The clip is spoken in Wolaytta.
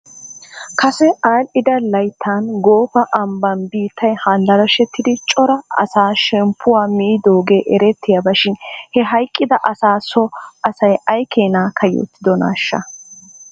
Kase aadhdhida layttan goofa ambban biittay handaraashettidi cora asaa shemppuwaa miidoogee erettiyaaba shin he hayqqida asaa so asay aykeenaa kayyottidonaashsha?